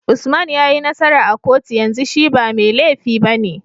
Usman yayi nasara a kotu yanzu shi ba me lefi bane